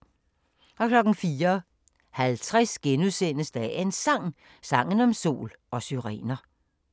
04:50: Dagens Sang: Sangen om sol og syrener *